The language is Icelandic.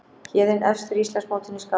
Héðinn efstur á Íslandsmótinu í skák